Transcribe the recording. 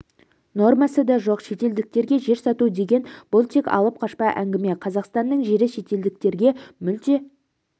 нормасы да жоқ шетелдіктерге жер сату деген бұл тек алып-қашпа әңгіме қазақстанның жері шетелдіктерге мүлде